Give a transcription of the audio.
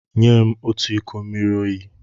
Nye m otu iko mmiri oyi!